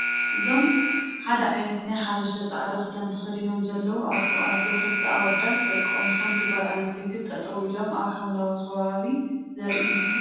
እዞም ሓደ ዓይነት ናይ ሓበሻ ፃዕዳ ክዳን ተከዲኖም ዘለው ኣቦ ኣዶ፣ ክልተ ኣወዳት ደቆምን ሓንቲ ጓል ኣነስተይትን ጠጠው ኢሎም ኣብ ሓምለዋይ ከባቢ ዘርኢ ምስሊ እዩ።